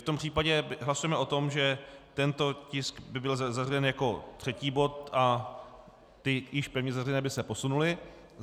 V tom případě hlasujeme o tom, že tento tisk by byl zařazen jako třetí bod a ty již pevně zařazené by se posunuly.